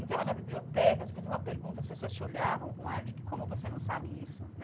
Entrava na biblioteca, você fazia uma pergunta, as pessoas te olhavam com um ar de como você não sabe isso.